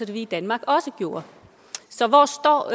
vi i danmark også gjorde så hvor står